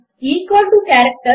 enter ను రెండుసార్లు press చేయండి